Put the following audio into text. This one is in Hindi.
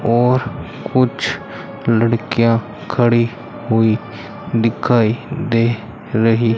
और कुछ ल ड़कियां खड़ी हुई दिखाई दे रही --